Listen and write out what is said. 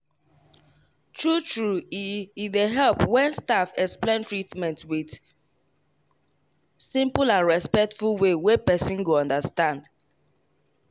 true true e e dey help when staff explain treatment with simple and respectful way wey person go understand.